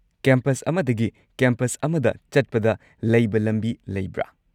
Campus ꯑꯃꯗꯒꯤ campus ꯑꯃꯗ ꯆꯠꯄꯗ ꯂꯥꯏꯕ ꯂꯝꯕꯤ ꯂꯩꯕ?